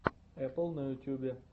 эпл на ютюбе